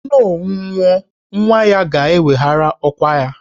Onowu nwụọ, nwa ya ga-eweghara ọkwà ya